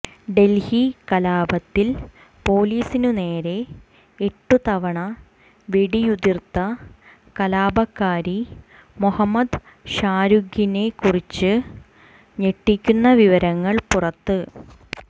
ഡൽഹി കലാപത്തിൽ പോലീസിനു നേരെ എട്ടു തവണ വെടിയുതിര്ത്ത കലാപകാരി മൊഹമ്മദ് ഷാരൂഖിനെക്കുറിച്ച് ഞെട്ടിക്കുന്ന വിവരങ്ങൾ പുറത്ത്